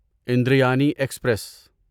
اندریانی express